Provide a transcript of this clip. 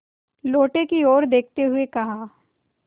लोटे की ओर देखते हुए कहा